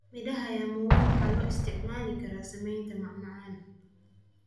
Midhaha ya muwa waxaa loo isticmaali karaa sameynta macmacaan.